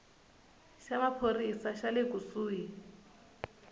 xa maphorisa xa le kusuhi